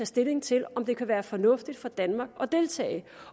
stilling til om det kan være fornuftigt for danmark at deltage